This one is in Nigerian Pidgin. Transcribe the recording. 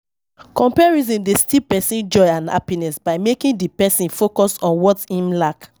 Comparison dey steal pesin joy and happiness by making di pesin focus on what im lack.